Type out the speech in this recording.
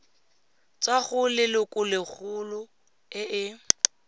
tswa go lelokolegolo e e